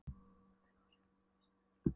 Aldrei fór Sveinn um Þingeyjarsýslur þessi ár.